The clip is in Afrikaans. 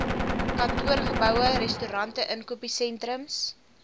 kantoorgeboue restaurante inkopiesentrums